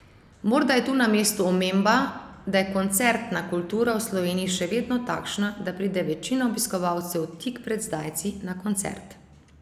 Morda je tu na mestu omemba, da je koncertna kultura v Sloveniji še vedno takšna, da pride večina obiskovalcev tik pred zdajci na koncert.